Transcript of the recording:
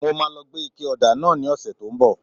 Mo máa lọ gbé ike ọ̀dà náà ní ọ̀sẹ̀ tí ó ń bọ̀